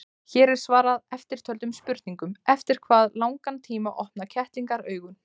Hér er svarað eftirtöldum spurningum: Eftir hvað langan tíma opna kettlingar augun?